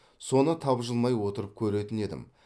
соны тапжылмай отырып көретін едім